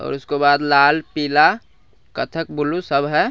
उसके बाद लाल पीला कथक ब्लू सब है --